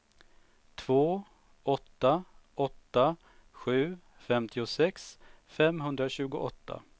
två åtta åtta sju femtiosex femhundratjugoåtta